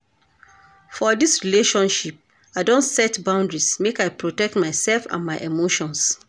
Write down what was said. For dis relationship, I don set boundaries make I protect myself and my emotions.